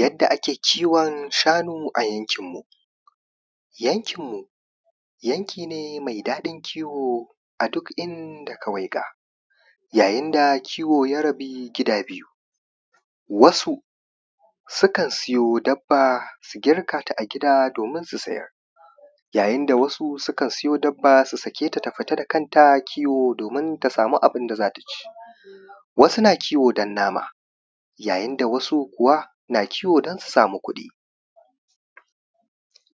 yadda ake kiwon shanu a yankin mu yankin mu yanki ne mai daɗin kiwo a duk inda ka waiga yayin da kiwo ya rabu gida biyu wasu sukan siyo dabba su girkata a gida domin su sayar yayin da wasu sukan siyo dabba su sake ta ta fita da kanta kiwo domin ta samu abunda zata ci wasu na kiwo don nama yayin da wasu kuwa na kiwo don su samu kuɗi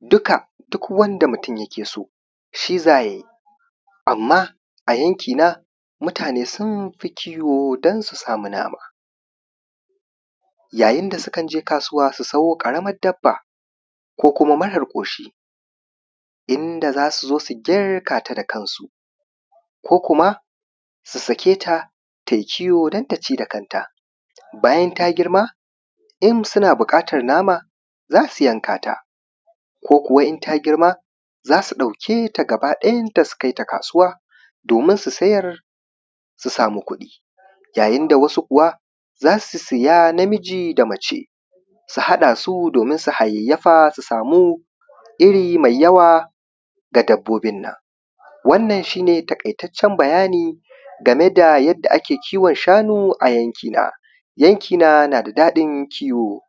dukka duk wanda mutum yake so shi zayayi amman a yankina mutane sunfi kiwo don su samu nama yayin da sukan je kasuwa su sawo ƙaramar dabba ko kuma marar ƙoshi inda zasu zo su girkata da kansu ko kuma su sake ta tayi kiwo don ta ci da kanta bayan ta girma in suna buƙatar nama zasu yankata ko kuwa in ta girma zasu ɗauki gaba ɗayan ta su kai ta kasuwa domin su sayar su samu kuɗi yayin da wasu kuwa zasu siya namiji da mace su haɗa su domin su hayayyafa su samu iri mai yawa na dabbobin nan wannan shi ne taƙaitaccen bayani game da yanda ake kiwon shanu a yankina yankina na da daɗin kiwo